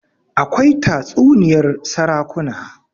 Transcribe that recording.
akwai tatsuniyar sarakuna